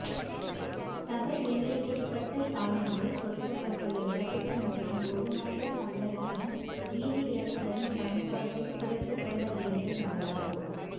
சபை எல்லைக்குட்பட்ட சாலைகளில் பொருத்தப்பட்டுள்ள விளக்குகள் மற்றும் பொது மக்கள் பங்களிப்புடன் வீதி விளக்குகளின் பயன்பாட்டை குறைத்துக்கொள்ள வேண்டும் என்றார்